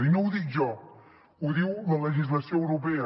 i no ho dic jo ho diu la legislació europea